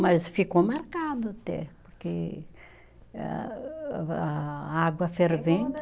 Mas ficou marcado até, porque âh, a a água fervendo.